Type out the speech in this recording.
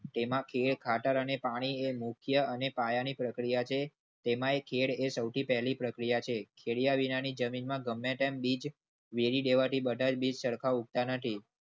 તેમાં ખેળ ખાતર અને પાણી મુખ્ય અને પાયાની પ્રક્રિયા છે. તેમાય ખેડ સૌથી પહેલી પ્રક્રિયા છે. કેવડિયાની જમીનમાં ગમે તેમ બીજ વેરી દેવા થી બધા બીજ સરખા ઉગતા નથી.